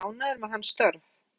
Hrund: Ertu ánægður með hans störf?